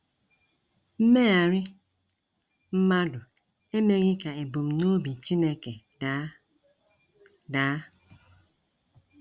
Mmegharị mmadụ emeghị ka ebumnobi Chineke daa. daa.